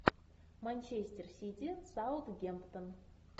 манчестер сити саутгемптон